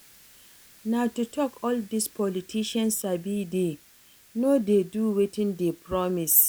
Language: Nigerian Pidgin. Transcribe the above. Na to talk all dis politicians sabi dey no dey do wetin dey promise